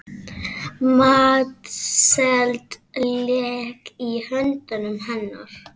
Matseld lék í höndum hennar.